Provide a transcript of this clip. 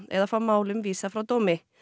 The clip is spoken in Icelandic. eða fá málum vísað frá dómi